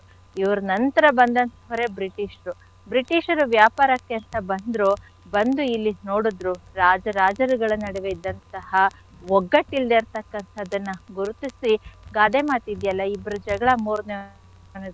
ಇವ್ರ್ ನಂತ್ರ ಬಂದಂಥೊರೆ British ರು. British ರು ವ್ಯಾಪಾರಕ್ಕೆ ಅಂತ ಬಂದ್ರು, ಬಂದು ಇಲ್ಲಿದ್ ನೋಡಿದ್ರು ರಾಜ ರಾಜರಗಳ ನಡುವೆ ಇದ್ದಂಥಹ ಒಗ್ಗಟ್ಟಿಲ್ದೆ ಇರ್ತಕ್ಕಂಥದ್ದನ್ನ ಗುರುತಿಸಿ ಗಾದೆ ಮಾತಿದ್ಯಲ್ಲ ಇಬ್ಬರ ಜಗಳ ಮೂರ್ನೆ ಅವನಿಗೆ,